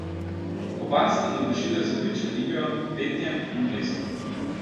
Oba sta navdušila z odlično igro, petjem in plesom!